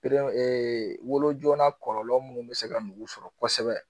wolojala kɔlɔlɔ munnu be se ka nugu sɔrɔ kosɛbɛ